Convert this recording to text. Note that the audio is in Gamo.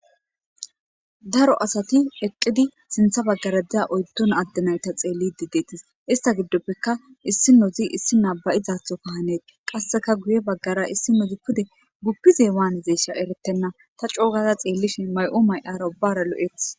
daro asati eqqidi sintha baggara diza oyddon addenayta xeellidi deettes ista giddoppeka issi nozi issi naabayizaatho ka hanet qasseka guye baggara issi nozi kude guppize waanizesha eretenna ta coogaza xeellishin may7u may7arabara lo7eth